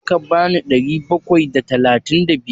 Za ka bani ɗari bakwai da talatin da biyar?